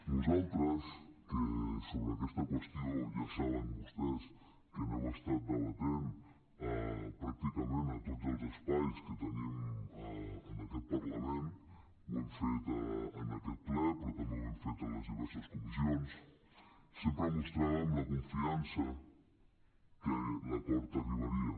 nosaltres que sobre aquesta qüestió ja saben vostès que hi hem estat debatent pràcticament a tots els espais que tenim en aquest parlament ho hem fet en aquest ple però també ho hem fet en les diverses comissions sempre mostràvem la confiança que l’acord arribaria